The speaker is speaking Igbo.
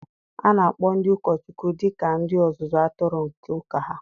A na-akpọ ndị ụkọchukwu dị ka ndị ọzụzụ atụrụ nke ụka ha.